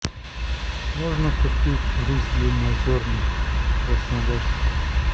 можно купить рис длиннозерный краснодарский